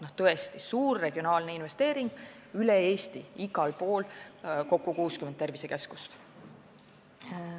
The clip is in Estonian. See on tõesti suur regionaalne investeering üle Eesti, igal pool, kokku 60 tervisekeskuses.